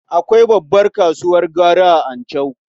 Akwai babbar kasuwar gwari a Anchau.